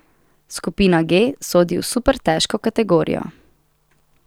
Skupina G sodi v super težko kategorijo.